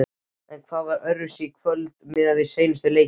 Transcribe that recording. En hvað var öðruvísi í kvöld miðað við seinustu leiki?